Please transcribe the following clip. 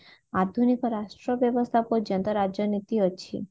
ଆଧୁନୀକ ରାଷ୍ଟ୍ର ବ୍ୟବସ୍ତା ପର୍ଯ୍ୟନ୍ତ ରାଜନୀତି ଅଛି